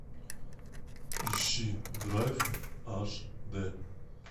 ищи драйв аш дэ